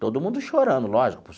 Todo mundo chorando, lógico.